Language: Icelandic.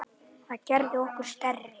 Það gerði okkur stærri.